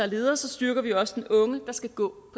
ledere styrker vi også den unge der skal gå